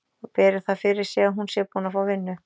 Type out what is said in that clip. Og beri það fyrir sig að hún sé búin að fá vinnu.